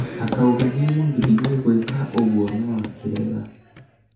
akauga nĩamũgiririe gwĩka ũguo no akĩrega